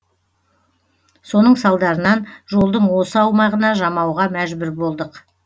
соның салдарынан жолдың осы аумағына жамауға мәжбүр болдық